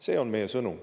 See on meie sõnum.